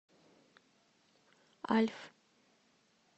альф